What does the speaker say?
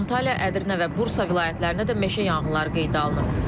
Antalya, Ədirnə və Bursa vilayətlərində də meşə yanğınları qeydə alınıb.